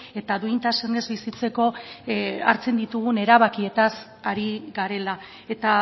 eta duintasunez bizitzeko hartzen ditugun erabakietaz ari garela eta